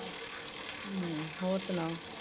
ਹਮ ਹੋਰ ਸੁਣਾਓ।